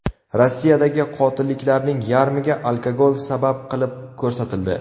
Rossiyadagi qotilliklarning yarmiga alkogol sabab qilib ko‘rsatildi.